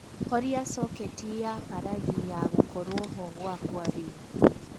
horia soketi ya palagi ya gūkorwo ho gwaka riū